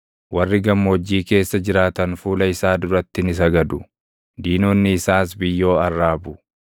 Warri gammoojjii keessa jiraatan fuula isaa duratti ni sagadu; diinonni isaas biyyoo arraabu.